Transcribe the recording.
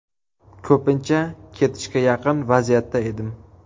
Ko‘pincha ketishga yaqin vaziyatda edim.